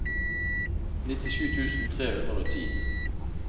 nittisju tusen tre hundre og ti